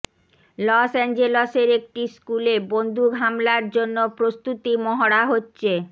loss অ্যাঞ্জেলসের একটি স্কুলে বন্দুক হামলার জন্য প্রস্তুতি মহড়া হচ্ছে